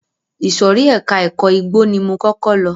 Ìsòrí ẹka ẹ̀kọ́ igbó ni mo kọ́kọ́ lọ.